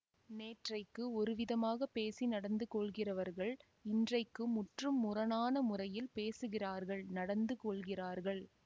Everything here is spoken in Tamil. நேற்றைக்கு ஒருவிதமாகப் பேசி நடந்து கொள்கிறவர்கள் இன்றைக்கு முற்றும் முரணான முறையில் பேசுகிறார்கள் நடந்து கொள்கிறார்கள்